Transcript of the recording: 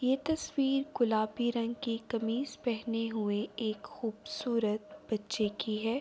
یہ تشویر گلابی رنگ کی کمیج پہنے ہوئے ایک خوبصورت بچھے کی ہے۔